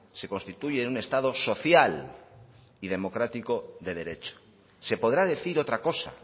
se constituye en un estado social y democrático de derecho se podrá decir otra cosa